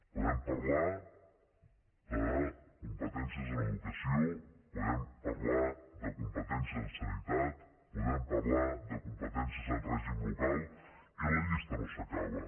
podem parlar de competències en educació podem parlar de competències en sanitat podem parlar de competències en règim local i la llista no s’acaba